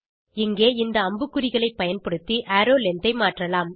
இங்கே இந்த அம்புக்குறிகளை பயன்படுத்து அரோவ் லெங்த் ஐ மாற்றலாம்